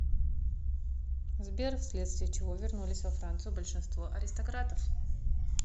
сбер вследствие чего вернулись во францию большинство аристократов